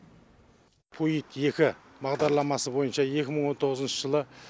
пуйт екі бағдарламасы бойынша екі мың он тоғызыншы жылы